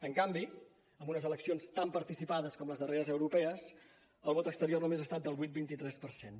en canvi en unes eleccions tan participades com les darreres europees el vot exterior només ha estat del vuit coma vint tres per cent